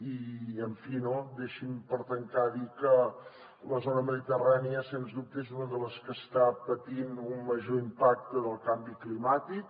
i en fi no deixi’m per tancar dir que la zona mediterrània sens dubte és una de les que està patint un major impacte del canvi climàtic